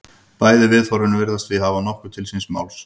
Bæði viðhorfin virðast því hafa nokkuð til síns máls.